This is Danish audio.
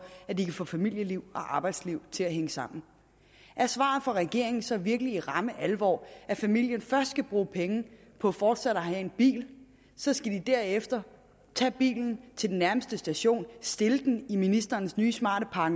at de kan få familieliv og arbejdsliv til at hænge sammen er svaret fra regeringen så virkelig i ramme alvor at familien først skal bruge penge på fortsat at have en bil så skal de derefter tage bilen til den nærmeste station stille den i ministerens nye smarte park